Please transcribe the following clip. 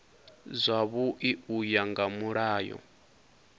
zwavhui u ya nga mulayo